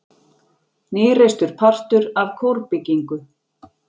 Nýreistur partur af kórbyggingu